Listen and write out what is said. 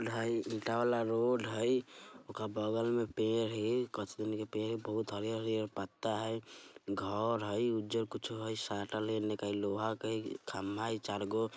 ईटा वाला रोड है ओका बगल में पेर है के पेर है| बहुत हरे-हरे पत्ता है घर हई उज्जर कुछ है साटल है एन्ने कहीं लोहा है कहीं खंभा है चार गो |